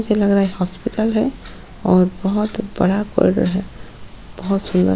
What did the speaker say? मुझे लग रहा है हॉस्पिटल है और बहुत बड़ा कॉरीडोर है बहुत सुंदर।